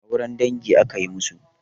Auren dangi akayi masu?